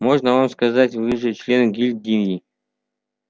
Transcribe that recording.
можно вам сказать вы же член гильдии